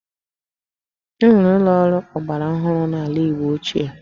E nweghị ụlọ ọrụ ọgbara ọhụrụ n'ala Igbo ochie